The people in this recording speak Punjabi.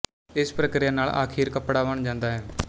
ਇਸ ਪ੍ਰਕਿਰਿਆ ਨਾਲ ਆਖੀਰ ਕੱਪੜਾ ਬਣ ਜਾਂਦਾ ਹੈ